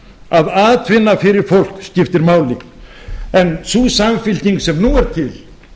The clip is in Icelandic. að atvinna fyrir fólk skipti máli en sú samfylking sem nú er til